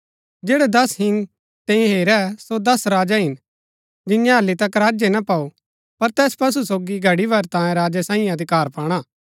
जैड़ै दस हिंग तैंई हेरै सो दस राजा हिन जिन्यैं हालि तक राज्य ना पाऊ पर तैस पशु सोगी घड़ी भर तांयें राजा सांईये अधिकार पाणा